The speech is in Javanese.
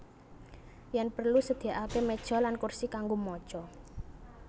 Yen perlu sediakake meja lan kursi kanggo maca